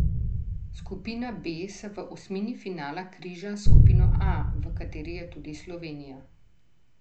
Skupina B se v osmini finala križa s skupino A, v kateri je tudi Slovenija.